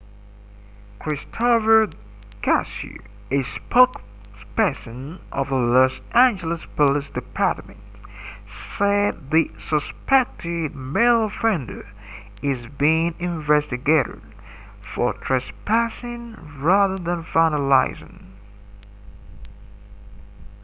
christopher garcia a spokesperson of the los angeles police department said the suspected male offender is being investigated for trespassing rather than vandalism